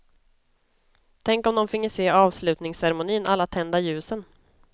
Tänk om de finge se avslutningscermonin, alla tända ljusen.